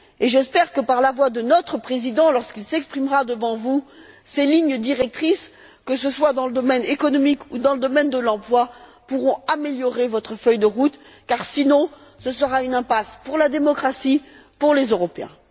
J'espère que, par la voix de notre Président lorsqu'il s'exprimera devant vous, ces lignes directrices, que ce soit dans le domaine économique ou dans le domaine de l'emploi, pourront améliorer votre feuille de route car sinon ce sera une impasse pour la démocratie et pour les Européens.